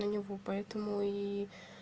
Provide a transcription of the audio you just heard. на него по этому и